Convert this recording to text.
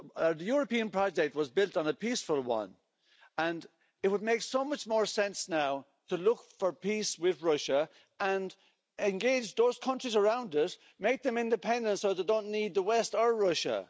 The European project was built on a peaceful one, and it would make so much more sense now to look for peace with Russia and engage those countries around it, make them independent, so they don't need the West or Russia.